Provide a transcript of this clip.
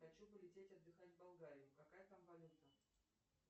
хочу полететь отдыхать в болгарию какая там валюта